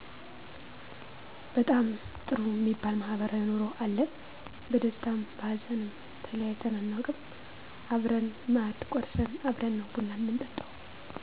በጣም ጥሩ እሚባል ማህበራዊ ኑሮ አለን በደስታም በሀዘንም ተለያይተን አናውቅም አብረን ማእድ ቆርስን አብረን ነው ቡና ምንጠጣው